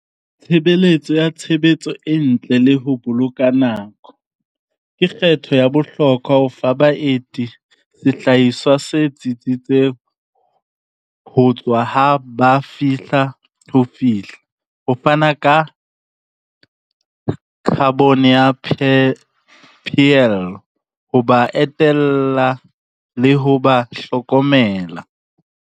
Tshebeletso ya tshebetso e ntle le ho boloka nako. Ke kgetho ya bohlokwa ho fa baeti se tsitsitseng ho tswa ha ba fe fihla ho fihla, ho fana ka carbon ya , ho ba etella le ho ba hlokomela.